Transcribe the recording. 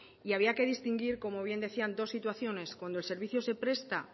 y había que distinguir como bien decían dos situaciones cuando el servicio se presta